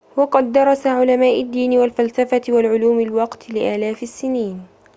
وقد درس علماء الدين والفلسفة والعلوم الوقت لآلاف السنين